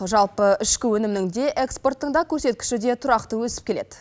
жалпы ішкі өнімнің де экспорттың да көрсеткіші де тұрақты өсіп келеді